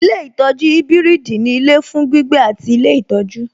Ilé ìtọjú ibiridi ní ilé fún gbígbé àti ilé ìtọ́jú.